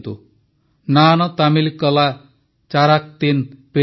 ନାନ ତାମିଲକଳା ଚାରାକ୍ତିନ ପେରିୟେ ଅଭିମାନୀ